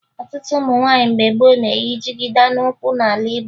Ọtụtụ ụmụ nwaanyị mgbe gboo na-eyi jigida n'ukwu n'ala Igbo